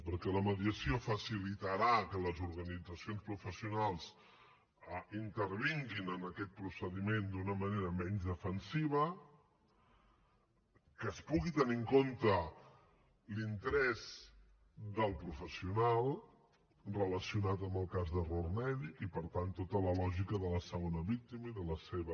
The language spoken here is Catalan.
perquè la mediació facilitarà que les organitzacions professionals intervinguin en aquest procediment d’una manera menys defensiva que es pugui tenir en compte l’interès del professional relacionat amb el cas d’error mèdic i per tant tota la lògica de la segona víctima i de la seva